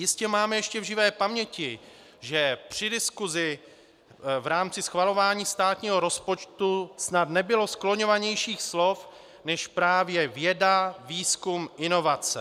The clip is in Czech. Jistě máme ještě v živé paměti, že při diskusi v rámci schvalování státního rozpočtu snad nebylo skloňovanějších slov než právě věda, výzkum, inovace.